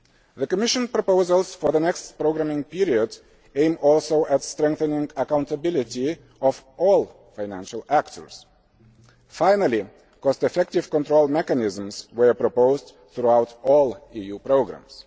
The Commission proposals for the next programming period aim also at strengthening the accountability of all financial actors. Finally, cost effective control mechanisms were proposed throughout all EU programmes.